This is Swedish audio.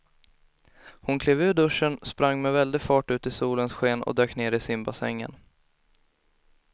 Hon klev ur duschen, sprang med väldig fart ut i solens sken och dök ner i simbassängen.